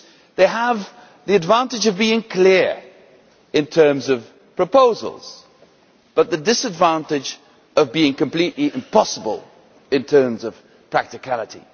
They have the advantage of being clear in terms of proposals, but the disadvantage of being completely impossible in terms of practicality.